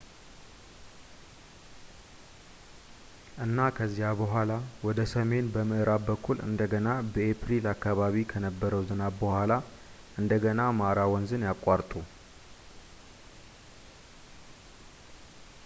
እና ከዚያ በኋላ ወደ ሰሜን በምዕራብ በኩል እንደገና በኤፕሪል አከባቢ ከነበረው ዝናብ በኋላ እንደገና ማራ ወንዝን ያቋርጡ